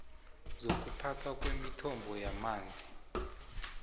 zokuphathwa kwemithombo yamanzi